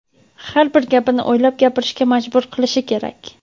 har bir gapini o‘ylab gapirishga majbur qilishi kerak.